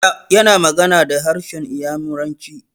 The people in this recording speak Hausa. Yana magana da harshen Inyamuranci.